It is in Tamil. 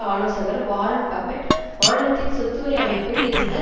ஆலோசகர் வாரன் பபெட் மாநிலத்தின் சொத்து வரி அமைப்பில் இருந்த